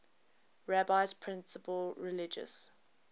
rabbi's principal religious